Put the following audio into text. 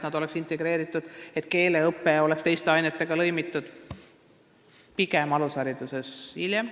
Me räägime, et keeleõpe peaks olema teiste ainetega lõimitud, aga alushariduses pigem hiljem.